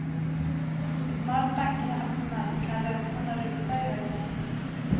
Så snart bankerna öppnar kan räntorna rusa i höjden.